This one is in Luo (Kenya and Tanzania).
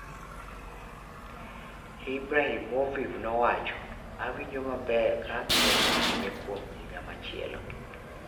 Ibrahimoviv nowacho: Awinjo maber ka abiro dhi nyime kuom higa machielo.